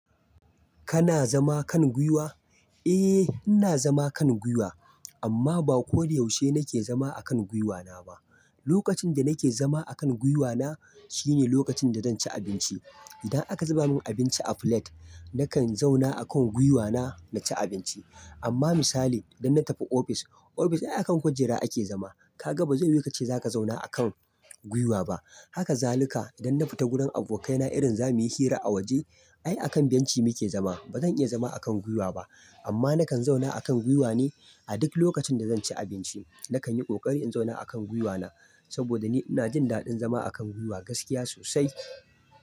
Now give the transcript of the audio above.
Kana zama kan guiwa? Eh, ina zama kan guiwa amma ba ko da yaushe nake zama akan gwiwana ba. Lokacin da nake zama akan gwiwana shine lokacin da zan ci abinci. Idan aka zuba min abinci a plate, nakan zauna akan gwiwana na ci abinci. Amma misali idan na tafi ofis, ofis ai akan kujera ake zama. Kaga ba zai yiwu ka ce za ka zauna akan guiwa ba. Haka zaluka idan na fita gurin abokaina irin zamuyi hira a waje, ai akan benci muke zama. Ba zan iya zama akan guiwa ba. Amma nakan zauna akan guiwa ne a duk lokacin da zan ci abinci. Nakan yi ƙoƙari in zauna akan gwiwana saboda ni ina jin daɗin zama akan guiwa gaskiya sosai.